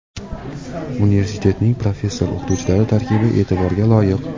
Universitetning professor-o‘qituvchilari tarkibi e’tiborga loyiq.